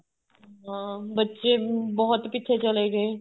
ਹਾਂ ਬੱਚੇ ਵੀ ਬਹੁਤ ਪਿੱਛੇ ਚਲੇ ਗਏ